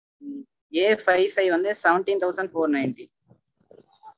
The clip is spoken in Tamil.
ம்ம் Afive five வந்து seventeen thousand four ninety